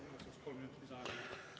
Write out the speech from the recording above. Palun igaks juhuks kolm minutit lisaaega.